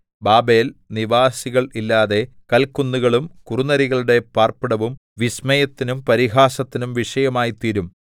Babel നിവാസികൾ ഇല്ലാതെ കല്ക്കുന്നുകളും കുറുനരികളുടെ പാർപ്പിടവും വിസ്മയത്തിനും പരിഹാസത്തിനും വിഷയവുമായിത്തീരും